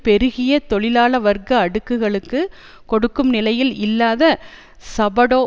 பெருகிய தொழிலாள வர்க்க அடுக்குகளுக்கு கொடுக்கும் நிலையில் இல்லாத சபடோ